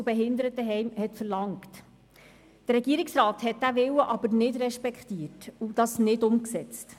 Allerdings hat der Regierungsrat diesen Willen nicht respektiert und dies nicht umgesetzt.